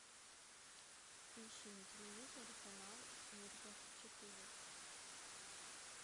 ищи на телевизоре канал мир двадцать четыре